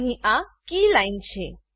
અહીં આ કીલાઈન છે